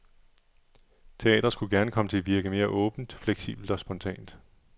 Teatret skulle gerne komme til at virke mere åbent, flexibelt og spontant.